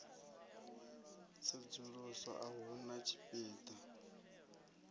tsedzuluso a hu na tshipida